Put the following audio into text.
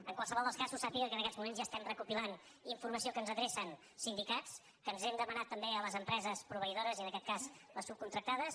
en qualsevol dels casos sà·piga que en aquests moments ja estem recopilant in·formació que ens adrecen sindicats que hem demanat també a les empreses proveïdores i en aquest cas les subcontractades